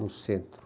No centro.